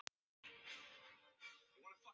Halda rónni, láta ekkert koma sér úr jafnvægi.